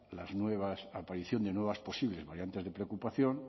las nuevas aparición de nuevas posibles variantes de preocupación